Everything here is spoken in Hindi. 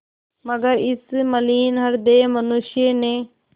मगर इस मलिन हृदय मनुष्य ने